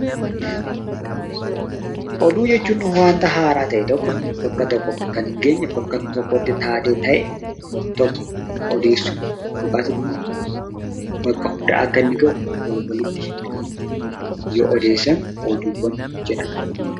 Oduu jechuun wanta haaraa ta'e tokko bakka tokko kan hin geenye, bakka tokkotti taatee ta'e tokko, odeessuu yookaas immoo bakka hunda akka ga'u wal walitti himanii yoo odeessan oduuwwan jedhama.